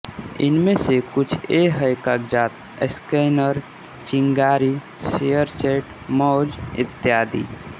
इनमें से कुछ ये हैं कागज स्कैनर चिनगारी शेयरचैट मौज इत्यादि